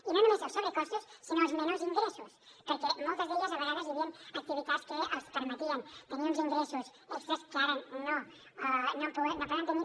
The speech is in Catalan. i no només els sobrecostos sinó els menors ingressos perquè en moltes d’elles a vegades hi havien activitats que els permetien tenir uns ingressos extres que ara no poden tenir